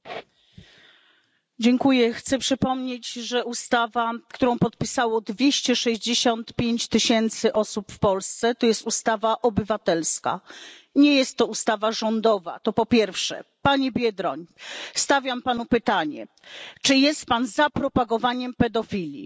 Panie Przewodniczący! Chcę przypomnieć, że ustawa, którą podpisało 265 tysięcy osób w Polsce, to ustawa obywatelska. Nie jest to ustawa rządowa to po pierwsze. Panie Biedroń, stawiam panu pytanie czy jest pan za propagowaniem pedofilii?